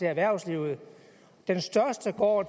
erhvervslivet den største går